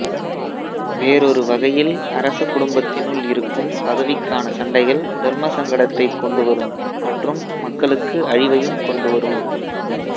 வேறொரு வகையில் அரச குடும்பத்தினுள் இருக்கும் பதவிக்கான சண்டைகள் தர்மசங்கடத்தைக் கொண்டு வரும் மற்றும் மக்களுக்கு அழிவையும் கொண்டு வரும்